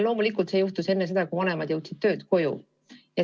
Loomulikult see juhtus enne seda, kui vanemad jõudsid töölt koju.